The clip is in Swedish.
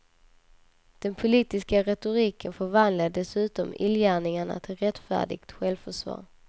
Den politiska retoriken förvandlade dessutom illgärningarna till rättfärdigt självförsvar.